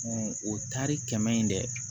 o taari kɛmɛ ye dɛ